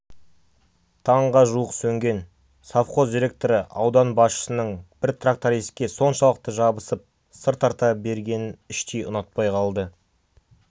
таңға жуық сөнген совхоз директоры аудан басшысының бір трактористке соншалықты жабысып сыр тарта бергенін іштей ұнатпай қалды